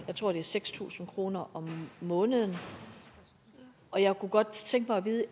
seks tusind kroner om måneden og jeg kunne godt tænke mig at vide